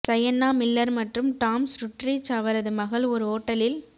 Sienna Miller மற்றும் Tom Sturridge அவரது மகள் ஒரு ஓட்டலில்